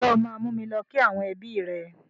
Ǹjẹ́ o máa mú mi lọ kí àwọn ẹbí rẹ?